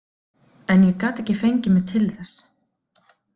En ég gat ekki fengið mig til þess.